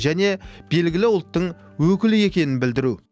және белгілі ұлттың өкілі екенін білдіру